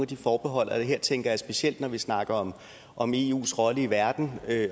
de forbehold her tænker jeg specielt når vi snakker om eus rolle i verden